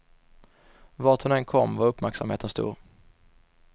Vart hon än kom var uppmärksamheten stor.